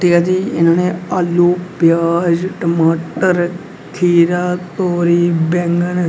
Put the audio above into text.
तैया जी इन्होंने आलू प्याज टमाटर खीरा तोरी बैंगन--